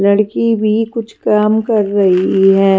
लड़की भी कुछ काम कर रही है।